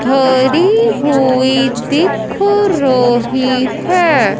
खड़ी हुई दिख रही है।